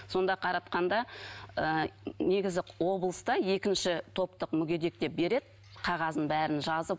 сонда қаратқанда ыыы негізі облыста екінші топтық мүгедек деп береді қағазын бәрін жазып